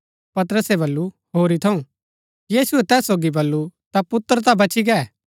पतरसे बल्लू होरी थऊँ यीशुऐ तैस सोगी बल्लू ता पुत्र ता बची गै